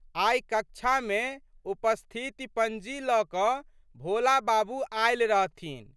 आइ कक्षामे उपस्थिति पंजी लऽ कऽ भोला बाबू आयल रहथिन।